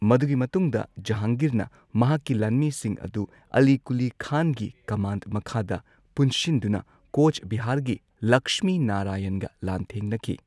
ꯃꯗꯨꯒꯤ ꯃꯇꯨꯡꯗ ꯖꯍꯥꯡꯒꯤꯔꯅ ꯃꯍꯥꯛꯀꯤ ꯂꯥꯟꯃꯤꯁꯤꯡ ꯑꯗꯨ ꯑꯂꯤ ꯀꯨꯂꯤ ꯈꯥꯟꯒꯤ ꯀꯝꯃꯥꯟꯗ ꯃꯈꯥꯗ ꯄꯨꯟꯁꯤꯟꯗꯨꯅ ꯀꯣꯆ ꯕꯤꯍꯥꯔꯒꯤ ꯂꯛꯁꯃꯤ ꯅꯥꯔꯥꯌꯟꯒ ꯂꯥꯟꯊꯦꯡꯅꯈꯤ꯫